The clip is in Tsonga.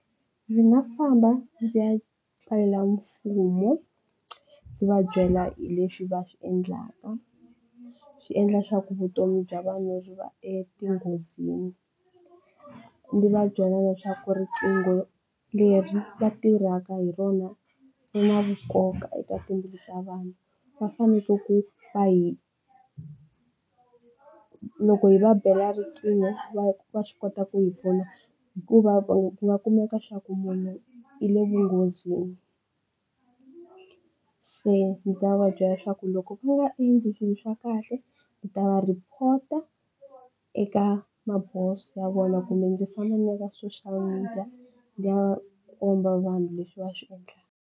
Ndzi nga famba ndzi ya tsalela mfumo ndzi va byela hi leswi va swi endlaka, swi endla leswaku vutomi bya vanhu byi va etinghozini. Ndzi va byela leswaku riqingho leri va tirhaka hi rona ri na nkoka eka timbilu ta vanhu va faneke ku va hi loko hi va bela riqingho va va swi kota ku hi pfuna hikuva va nga kumeka swa ku munhu i le vunghozini se ndzi ta va byela leswaku loko ku nga endli swilo swa kahle hi ta va report eka maboso ya vona kumbe ndzi fonela ka social media liya komba vanhu leswi va swi endlaka.